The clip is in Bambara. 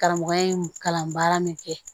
Karamɔgɔya in kalanbaara min kɛ